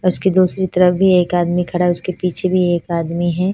उसके दोसरी तरफ भी एक आदमी खड़ा है उसके पीछे भी एक आदमी है।